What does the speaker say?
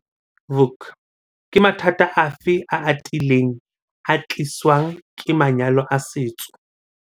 Vuk- Ke mathata afe a atileng a ka tliswang ke manyalo a setso?